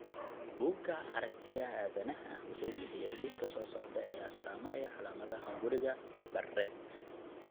Buugga Aragtiyaha Aadanaha wuxuu bixiyaa liiska soo socda ee astamaha iyo calaamadaha hunguriga Barrett.